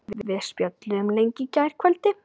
Við spjölluðum lengi í gærkvöldi.